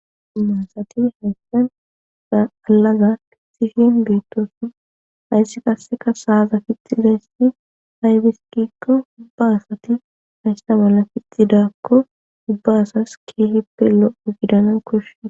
naasati haystan za alaza fitxishin beettosun hayssi qasseka saaza pixizaysti haybiskikko ubba asati haysta mala pixidakko ubba asas keehippe lo7o gidanan kushea